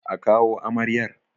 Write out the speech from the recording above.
A kawo amaryar!